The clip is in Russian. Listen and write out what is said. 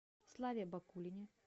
славе бакулине